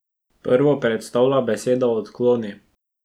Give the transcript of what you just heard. Prvo predstavlja beseda odkloni.